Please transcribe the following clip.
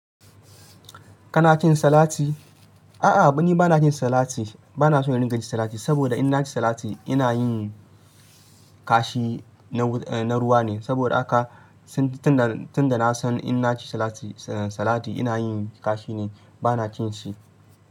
Kana cin salati? A'a, ni ba na cin salati. Ba na son in dinga cin salati, saboda in na ci salati ina yin kashi na ruwa ne. Saboda haka tunda na san in na ci salati ina yin kashi ne, ba na cin shi.